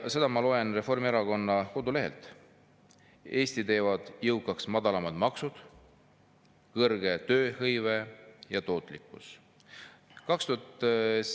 Ma loen neid Reformierakonna kodulehelt: "Eesti teevad jõukaks madalamad maksud, kõrge tööhõive ja tootlikkus.